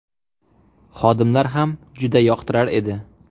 Xodimlar ham juda yoqtirar edi.